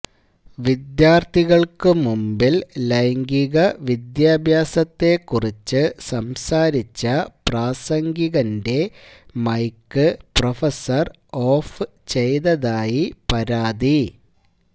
വിദ്യാര്ഥികള്ക്കു മുമ്പില് ലൈംഗിക വിദ്യാഭ്യാസത്തെക്കുറിച്ച് സംസാരിച്ച പ്രാസംഗികന്റെ മൈക്ക് പ്രഫസര് ഓഫ് ചെയ്തതായി പരാതി